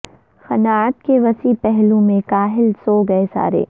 قناعت کے وسیع پہلو میں کاہل سو گئے سارے